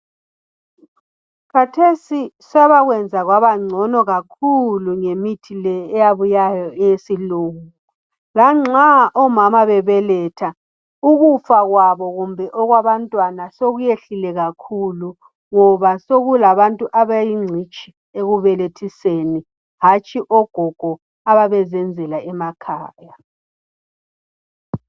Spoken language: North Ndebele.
Kathesi sebakwenza kwabangcono kakhulu ngemithi eyabuyayoyesilungu. Lanxa omama nxa bebeletha sokukalutshwana ukufa kwabo kumbe abantwana ngoba sokulabantu abayingcitshi ekubelethiseni hatshi ogogo ababezenzela emakhaya.